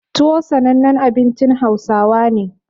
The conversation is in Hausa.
Tuwo sanannen abincin Hausawa ne.